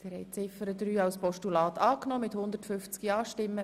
Sie haben Ziffer 3 als Postulat angenommen.